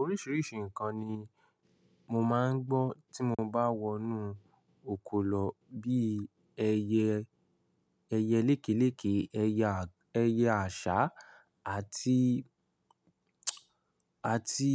Oríṣìríṣi nǹkan ni mo máa ń gbọ́ tí mo bá wọnú oko lọ bí ẹyẹ, ẹyẹ lékelèke, ẹyẹ àṣá àti, àti